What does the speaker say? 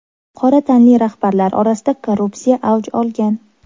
Qora tanli rahbarlar orasida korrupsiya avj olgan.